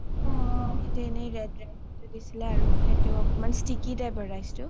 এটিয়া এনে red rice খেইটো দিছিলে আৰু অকমাণ sticky type ৰ rice টো.